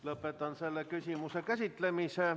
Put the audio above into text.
Lõpetan selle küsimuse käsitlemise.